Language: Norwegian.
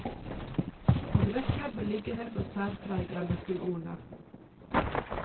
Adresse, beliggenhet og særpreg er nøkkelordene.